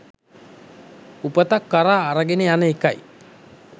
උපතක් කරා අරගෙන යන එකයි.